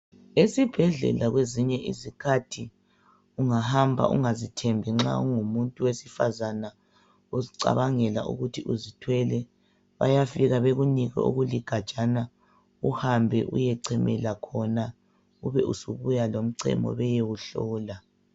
Esibhedlela kwezinye izikhathi ungahamba ungazithembi nxa ungumuntu wesifazana, uzicabangela ukuthi uzithwele, bayafika bakunike okuligajana uhambe uyechemela khona, ubusubuya lomchemo bayewuhlola.